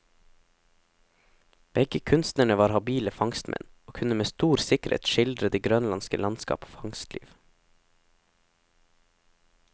Begge kunstnerne var habile fangstmenn, og kunne med stor sikkerhet skildre det grønlandske landskap og fangstliv.